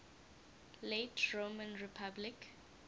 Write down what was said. late roman republic